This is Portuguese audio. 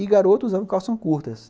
E garotos usavam calças curtas.